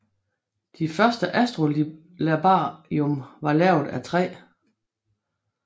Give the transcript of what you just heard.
De første astrolabium var lavet af træ